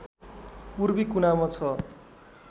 पूर्वी कुनामा छ